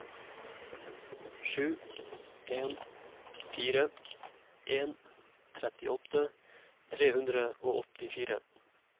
sju en fire en trettiåtte tre hundre og åttifire